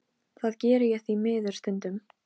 Hilmar, bókaðu hring í golf á laugardaginn.